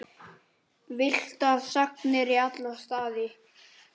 Villtar sagnir í alla staði.